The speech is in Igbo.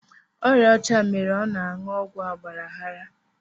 Ọrịa ọcha mere ọ na anụ ọgwụ agbara aghara